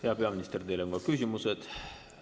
Hea peaminister, teile on ka küsimused.